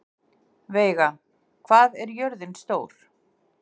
Veiga, hvað er jörðin stór?